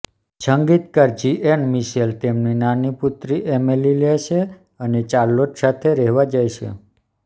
સંગીતકાર Jean Michel તેમની નાની પુત્રી એમિલી લે છે અને ચાર્લોટ સાથે રહેવા જાય છે